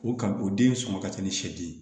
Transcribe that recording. O kan o den sɔngɔ ka ca ni sɛden ye